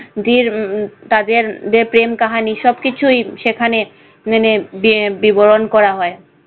তাদের যে প্রেম কাহানি সবকিছুই সেখানে মানে বি~ বিবরণ করা হয়।